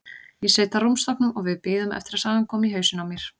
Ég sit á rúmstokknum og við bíðum eftir að sagan komi í hausinn á mér.